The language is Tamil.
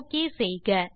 ஒக் செய்க